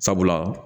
Sabula